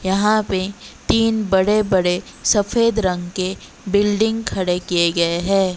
यहां पे तीन बड़े बड़े सफेद रंग के बिल्डिंग खड़े किए गए हैं।